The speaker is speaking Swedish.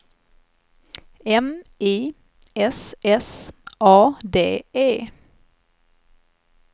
M I S S A D E